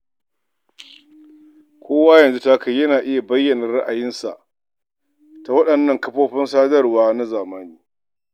Kowa yanzu ta kai yana iya bayyan ra'ayinsa ta waɗannan kafofin sadarwa na zamani.